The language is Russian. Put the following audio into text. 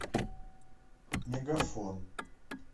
мегафон